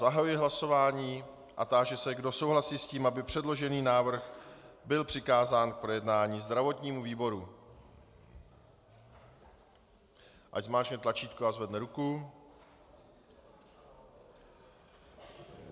Zahajuji hlasování a táži se, kdo souhlasí s tím, aby předložený návrh byl přikázán k projednání zdravotnímu výboru, ať zmáčkne tlačítko a zvedne ruku.